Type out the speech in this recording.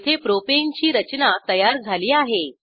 येथे प्रोपाने ची रचना तयार झाली आहे